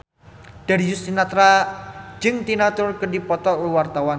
Darius Sinathrya jeung Tina Turner keur dipoto ku wartawan